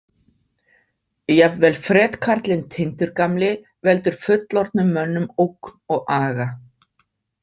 Jafnvel fretkarlinn Tindur gamli veldur fullorðnum mönnum ógn og aga.